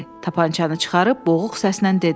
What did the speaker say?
Tapançanı çıxarıb boğuq səslə dedi: